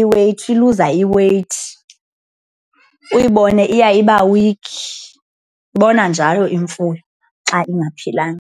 i-weight, iluza i-weight. Uyibone iya iba weak, ibonwa njalo imfuyo xa ingaphilanga.